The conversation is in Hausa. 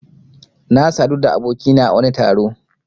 Na sadu da abokina a wani taro.